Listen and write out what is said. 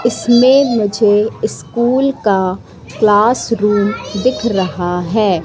इसमें मुझे स्कूल का क्लास रूम दिख रहा है।